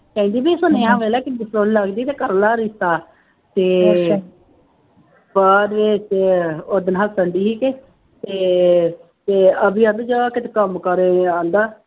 ਕਹਿੰਦੀ ਬਈ ਸੁਨੇਹਾ ਮਿਲਿਆ ਲੱਗਦੀ ਤੂੰ ਕਰ ਲੈ ਰਿਸ਼ਤਾ, ਅਤੇ ਬਾਅਦ ਵਿੱਚ ਉਹ ਦਿਨ ਹੱਸਣ ਡੇਈ ਸੀ ਅਤੇ ਅਤੇ ਅਤੇ ਅਭੀ ਕੰਮ ਕਰ ਰਿਹਾ ਕਿਤੇ ਆਉਂਦਾ